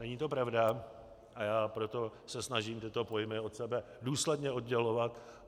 Není to pravda, a já proto se snažím tyto pojmy od sebe důsledně oddělovat.